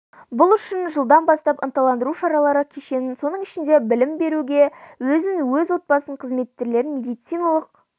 бұл үшін жылдан бастап ынталандыру шаралары кешенін соның ішінде білім беруге өзін өз отбасын қызметкерлерін медициналық